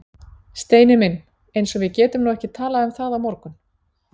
Steini minn. eins og við getum nú ekki talað um það á morgun!